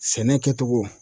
Sɛnɛ kɛ togo.